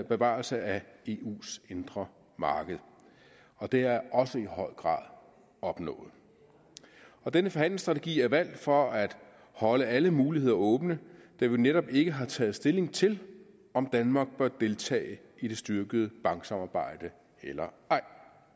bevarelse af eus indre marked og det er også i høj grad opnået denne forhandlingsstrategi er valgt for at holde alle muligheder åbne da vi jo netop ikke har taget stilling til om danmark bør deltage i det styrkede banksamarbejde eller ej